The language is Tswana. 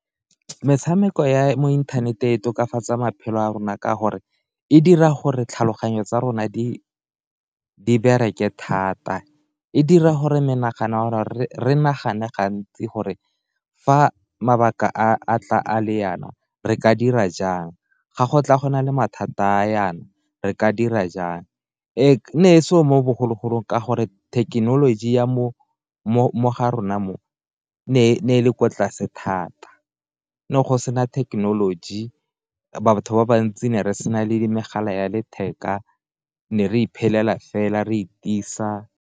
Metshameko ya mo inthaneteng e tokafatsaa maphelo a rona ka gore e dira gore tlhaloganyo tsa rona di bereke thata, e dira gore menagano gore re nagane gantsi gore fa mabaka a tla a le yana re ka dira jang ga go tla go na le mathata a yana, re ka dira jang ga go katla go na le mathata e ne e seo mo bogologolong ka gore thekenoloji ya mo ga rona mo, ne e le kwa tlase thata ne go sena thekenoloji batho ba bantsi ne re sena le megala ya letheka ne re iphelela fela re itisa.